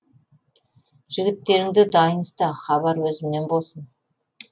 жігіттеріңді дайын ұста хабар өзімнен болсын